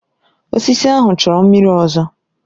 Osisi ahụ chọrọ mmiri ọzọ.